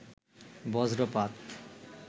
বজ্রপাত